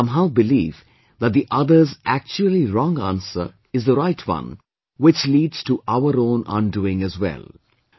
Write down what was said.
But we somehow believe that the other's actually wrong answer is the right one, which leads to our own undoing as well